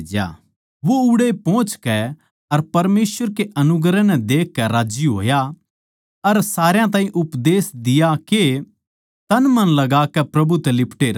वो उड़ै पोहचकै अर परमेसवर के अनुग्रह नै देखकै राज्जी होया अर सारया ताहीं उपदेश दिया के तनमन लगाकै प्रभु तै लिपटे रहो